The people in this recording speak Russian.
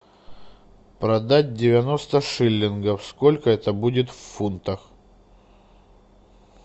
продать девяносто шиллингов сколько это будет в фунтах